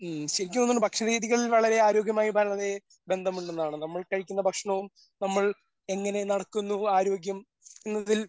ഉം ശരിക്കും തോന്നുന്നു ഭക്ഷണരീതികളിൽ വളരെ ആരോഗ്യപരമായി വളരെ ബന്ധമുണ്ടെന്നാണ് നമ്മൾ കഴിക്കുന്ന ഭക്ഷണവും നമ്മൾ എങ്ങനെ നടക്കുന്നു ആരോഗ്യം എന്നതിൽ